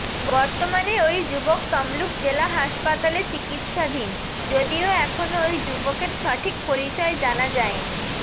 বর্তমানে ওই যুবক তমলুক জেলা হাসপাতালে চিকিৎসাধীন যদিও এখনও ওই যুবকের সঠিক পরিচয় জানা যায়নি